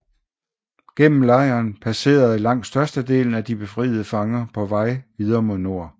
Gennem lejren passerede langt størstedelen af de befriede fanger på vej videre mod nord